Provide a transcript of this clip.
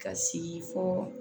Ka sigi fɔ